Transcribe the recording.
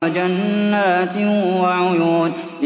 وَجَنَّاتٍ وَعُيُونٍ